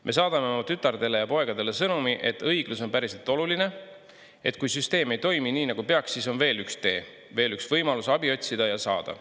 Me saadame oma tütardele ja poegadele sõnumi, et õiglus on päriselt oluline, et kui süsteem ei toimi nii, nagu peaks, siis on veel üks tee, veel üks võimalus abi otsida ja saada.